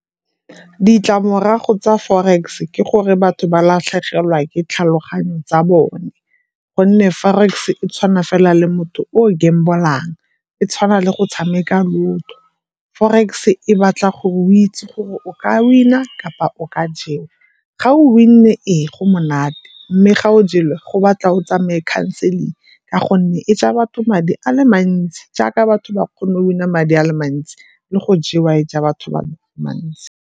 Ditlamorago tsa forex ke gore batho ba latlhegelwa ke tlhaloganyo tsa bone, gonne forex tshwana fela le motho o gamble-ang. E tshwana le go tshameka lotto. Forex e batla gore o itse gore o ka win-a kapa o ka jewa. Ga o win-e, ee go monate mme ga o jelwe go batla o tsamaye counseling ka gonne e ja batho madi a le mantsi jaaka batho ba kgone win-a madi a le mantsi le go jewa e ja batho madi a le mantsi.